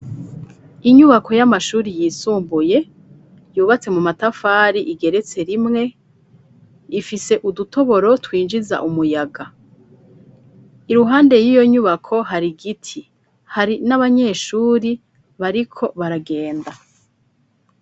Inyubako y'amashuri yisumbuye .Yubatse mu matafari igeretse rimwe ifise udutoboro twinjiza umuyaga .Iruhande y'iyo nyubako hari giti hari n'abanyeshuri bariko baragenda.